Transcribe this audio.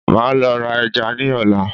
maa lo ra eja ni ola